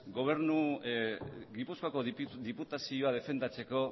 gipuzkoako diputazioa defendatzeko